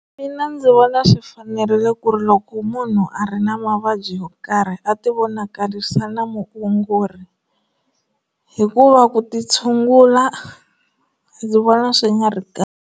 Mina ndzi vona swi fanerile ku ri loko munhu a ri na mavabyi yo karhi a ti vonakarisa na muongori hikuva ku ti tshungula ndzi vona swi nga ri kahle.